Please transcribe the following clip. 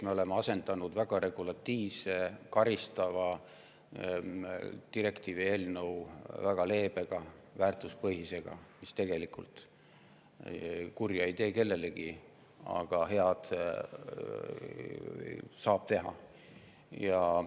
Me oleme asendanud väga regulatiivse ja karistava direktiivi eelnõu väga leebe ja väärtuspõhisega, mis tegelikult kurja ei tee kellelegi, aga head saab teha.